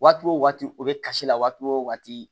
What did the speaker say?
Waati o waati o bɛ kasi la waati o waati